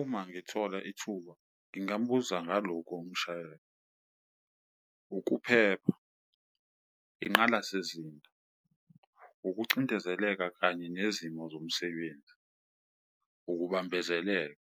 Uma ngithola ithuba ngingambuza ngalokhu umshayeli, ukuphepha, inqalasizinda, ukucindezeleka kanye nezimo zomsebenzi, ukubambezeleka,